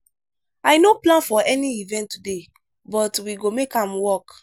i no plan for any event today but we go make am work.